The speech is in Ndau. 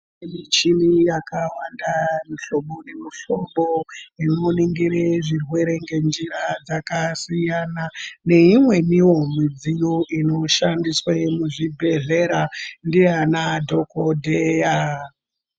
Michini yakawanda yemuhlobo nemuhlobo inoningire zvirwere ngenjira dzakasiyana neimweniwo mudziyo inoshandiswa muzvibhedhlera ndianadhokodheya.